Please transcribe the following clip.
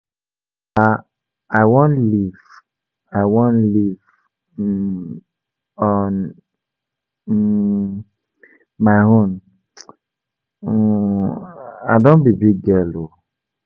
Papa I wan live I wan live um on um my own, um I don be big girl oo.